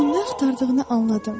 Onun nə axtardığını anladım.